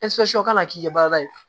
ka na k'i ka baara ye